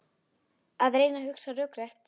Að reyna að hugsa rökrétt